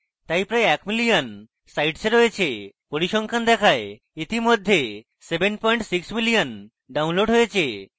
এটি প্রায় এক million sites a রয়েছে পরিসংখ্যান দেখায় ইতিমধ্যে 7 পয়েন্ট 6 million downloads হয়েছে